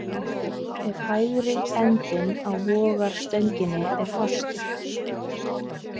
Ef hægri endinn á vogarstönginni er fastur.